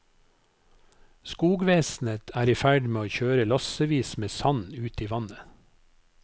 Skogvesenet er i ferd med å kjøre lassevis med sand ut i vannet.